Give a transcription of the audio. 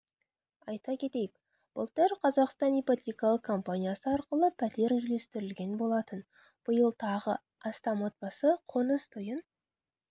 айта кетейік былтыр қазақстан ипотекалық компаниясы арқылы пәтер үлестірілген болатын биыл тағы астам отбасы қоныс тойын